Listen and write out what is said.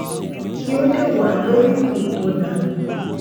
kí ó lè wà lórípò tó dáa